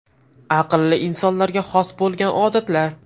Aqlli insonlarga xos bo‘lgan odatlar.